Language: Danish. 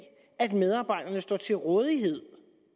at medarbejderne står til rådighed